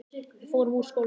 Við förum úr skónum.